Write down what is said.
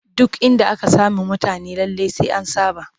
Duk inda aka sami mutane lallai sai an saɓa